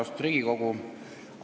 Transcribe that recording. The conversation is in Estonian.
Austatud Riigikogu!